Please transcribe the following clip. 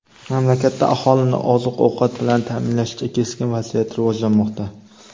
mamlakatda aholini oziq-ovqat bilan ta’minlashda keskin vaziyat rivojlanmoqda.